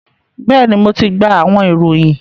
bẹẹni, Mo ti gba awọn irohin